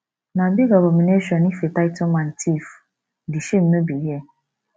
na big abomination if a title man thief di shame no be here